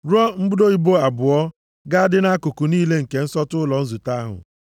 Rụọ mbudo ibo abụọ, ga-adị na nkuku niile nke nsọtụ ụlọ nzute ahụ.